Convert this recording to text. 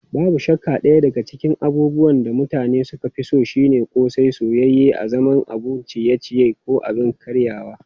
Babu shakka daya daga cikin abubuwan da mutane suka fi so shine ƙosai, soyayye a zaman abun ciye-ciye ko abin karyawa.